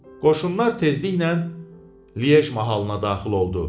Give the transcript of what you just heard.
Qoşunlar tezliklə Liej mahalına daxil oldu.